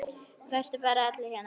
Eru bara allir hérna?